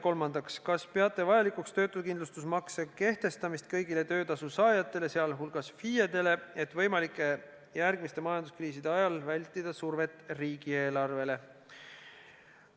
Kolmandaks: kas peate vajalikuks töötukindlustusmakse kehtestamist kõigile töötasu saajatele, sh FIE-dele, et võimalikke järgmiste majanduskriiside ajal vältida survet riigieelarvele?